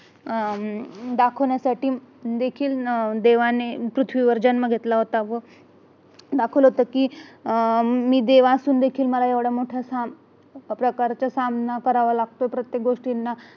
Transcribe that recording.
अह दाखवण्यासाठी देखील देवाने पृथ्वीवर जन्म घेतला होता व दाखवलं होत कि मी देव असून देखील मला एवढा मोठा प्रकारचा सामना करावा लागतो प्रत्येक गोष्टीना